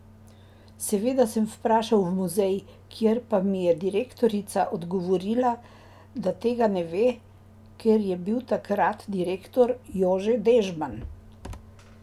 Seveda sem vprašal v muzej, kjer pa mi je direktorica odgovorila, da tega ne ve, ker je bil takrat direktor Jože Dežman.